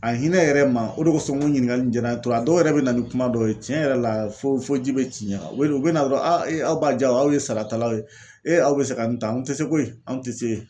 A hinɛ yɛrɛ ma o de kosɔn n ko ɲininkali in jara n ye a dɔw yɛrɛ bɛ na ni kuma dɔ ye tiɲɛ yɛrɛ la fo fo ji bɛ ci i ɲɛ kan u bɛ na dɔrɔn aw b'a ja aw ye saratalaw ye e aw bɛ se ka nin ta anw tɛ se koyi anw tɛ se.